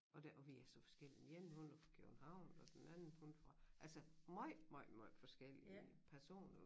Og der og vi er så forskellige den ene hun er fra København og den anden hun fra altså måj måj måj forskellige personer